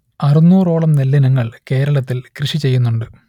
അറുന്നൂറോളം നെല്ലിനങ്ങൾ കേരളത്തിൽ കൃഷിചെയ്യുന്നുണ്ട്